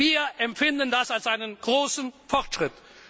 Wir empfinden das als einen großen Fortschritt.